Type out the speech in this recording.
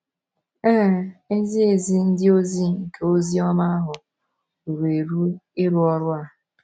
Ee, ezi ezi ndị ozi nke ozi ọma ahụ ruru eru ịrụ ọrụ a.